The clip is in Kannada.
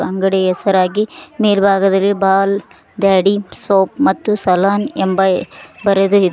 ಅಂಗಡಿ ಹೆಸರಾಗಿ ಮೇಲ್ಭಾಗದಲ್ಲಿ ಬಾಲ್ ಡ್ಯಾಡಿ ಸೋಪ್ ಮತ್ತು ಸಲೂನ್ ಎಂಬ ಬರೆದು ಇದೆ.